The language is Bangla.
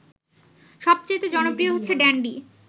সবচাইতে জনপ্রিয় হচ্ছে ড্যান্ডি